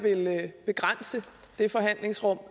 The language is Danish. begrænse det forhandlingsrum